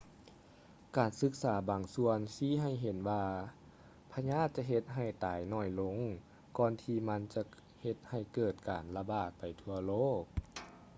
ການສຶກສາບາງສ່ວນຊີ້ໃຫ້ເຫັນວ່າພະຍາດຈະເຮັດໃຫ້ຕາຍໜ້ອຍລົງ ກ່ອນທີ່ມັນຈະເຮັດໃຫ້ເກີດການລະບາດໄປທົ່ວໂລກ